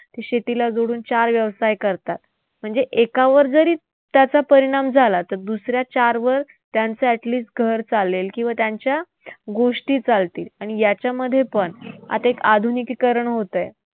शेतीला जोडून चार व्यवसाय करतात. म्हणजे एकावर जरी त्याचा परिणाम झाला तर दुसऱ्या चारवर त्यांचं at least घर चालेल किंवा त्यांच्या गोष्टी चालतील. आणि याच्यामध्येपण आता एक आधुनिकीकरण होतंय.